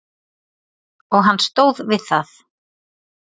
Og hann stóð við það.